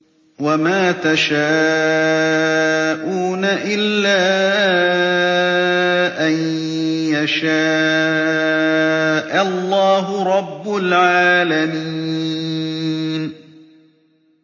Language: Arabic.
وَمَا تَشَاءُونَ إِلَّا أَن يَشَاءَ اللَّهُ رَبُّ الْعَالَمِينَ